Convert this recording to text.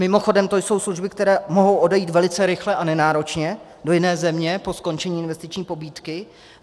Mimochodem to jsou služby, které mohou odejít velice rychle a nenáročně do jiné země po skončení investiční pobídky.